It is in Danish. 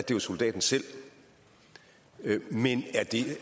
jo soldaten selv men